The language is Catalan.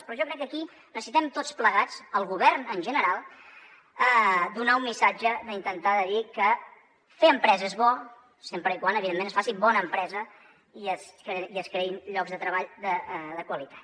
però jo crec que aquí necessitem tots plegats el govern en general donar un missatge d’intentar dir que fer empresa és bo sempre que evidentment es faci bona empresa i es creïn llocs de treball de qualitat